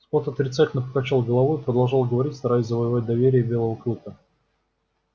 скотт отрицательно покачал головой и продолжал говорить стараясь завоевать доверие белого клыка